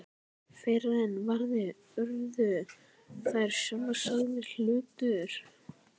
Fyrr en varði urðu þær sjálfsagður hlutur.